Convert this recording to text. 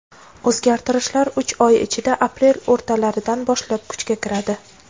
O‘zgartirishlar uch oy ichida — aprel o‘rtalaridan boshlab kuchga kiradi.